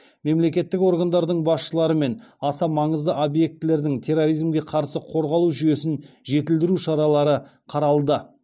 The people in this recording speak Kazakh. мемлекеттік органдардың басшыларымен аса маңызды объектілердің терроризмге қарсы қорғалу жүйесін жетілдіру шаралары қаралды